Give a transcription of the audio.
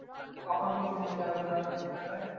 কখন কে মরে যাবে না চলে যাবে।